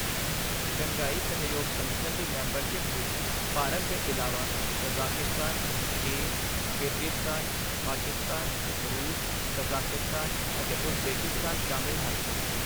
Shanghai ਸਹਿਯੋਗ ਸੰਗਠਨ ਦੀ ਮੈਂਬਰਸ਼ਿਪ ਵਿੱਚ ਭਾਰਤ ਦੇ ਇਲਾਵਾ ਕਜ਼ਾਕਿਸਤਾਨ, ਚੀਨ, ਕਿਰਗਿਰਜ਼ਸਤਾਨ, ਪਾਕਿਸਤਾਨ, ਰੂਸ, ਤਜ਼ਾਕਿਸਤਾਨ ਅਤੇ ਉਜ਼ਬੇਕਿਸਤਾਨ ਸ਼ਾਮਿਲ ਹਨ।